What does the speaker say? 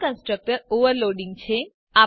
આ constructor overloading છે